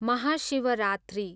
Mahashivratri